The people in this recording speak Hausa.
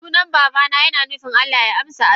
Sunan babana yina nufin Allah ya amsa addua.